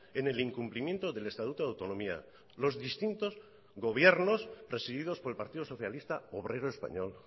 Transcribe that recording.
en el incumplimiento del estatuto de autonomía los distintos gobiernos presididos por el partido socialista obrero español